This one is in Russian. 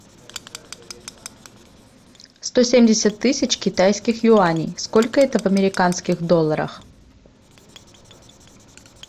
сто семьдесят тысяч китайских юаней сколько это в американских долларах